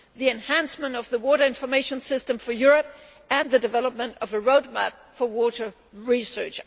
the enhancement of the Water Information System for Europe and the development of a road map for water research.